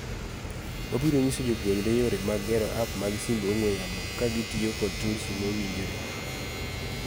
Wabiro nyiso jopuonjre yore mag gero app mag simb ong'we yamo kagitiyo kod tulsi mowinjore.